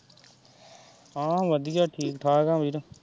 ਹਾਂ ਵਧੀਆ ਠੀਕ-ਠਾਕ ਆ ਵੀਰ।